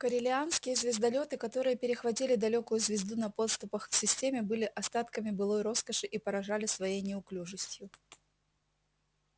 корелианские звездолёты которые перехватили далёкую звезду на подступах к системе были остатками былой роскоши и поражали своей неуклюжестью